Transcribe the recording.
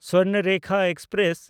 Swarnarekha express